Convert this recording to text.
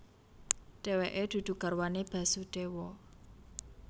Dheweke dudu garwane Basudewa